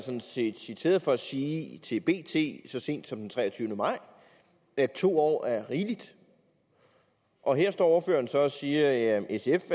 sådan set citeret for at sige til bt så sent som den treogtyvende maj at to år er rigeligt og her står ordføreren så og siger at sf